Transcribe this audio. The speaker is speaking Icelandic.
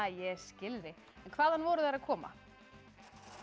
ég skil þig en hvaðan voru þær að koma þau